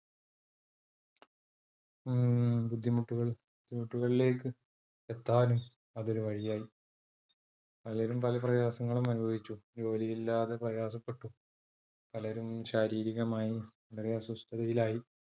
ബുദ്ധിമുട്ടുകളിലേക്ക് എത്താനും, അത് ഒരു വഴിയായി. പലരും പല പ്രയാസങ്ങളും അനുഭവിച്ചു. ജോലി ഇല്ലാതെ പ്രയാസപ്പെട്ടു പലരും ശാരീരികമായി വളരെ അസ്വസ്ഥയിലായി.